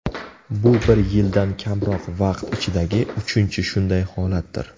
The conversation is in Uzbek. Bu bir yildan kamroq vaqt ichidagi uchinchi shunday holatdir.